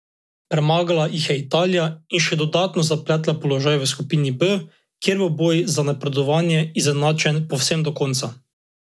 Premagala jih je Italija in še dodatno zapletla položaj v skupini B, kjer bo boj za napredovanje izenačen povsem do konca.